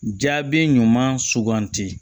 Jaabi ɲuman suganti